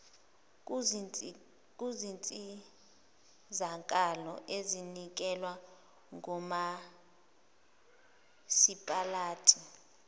kuzinsizakalo ezinikezwa ngomasipalati